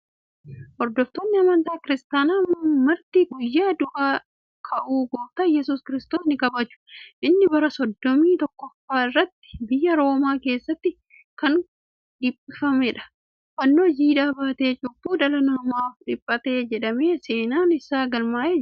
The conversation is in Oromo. Hordoftoonni amantaa kiristaanaa Marti guyyaa du'ee du'aa ka'uu Gooftaa Yesuus Kiristoos ni kabaju. Inni bara soddomii tokkoffaa isaatti biyya Roomaa keessatti kan dhiphafamedha. Fannoo jiidhaa baatee cubbuu dhala namaaf dhiphate jedhamee seenaan isaa galmaa'ee jira.